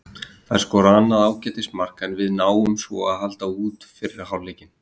Þeir skora annað ágætis mark, en við náum svo að halda út fyrri hálfleikinn.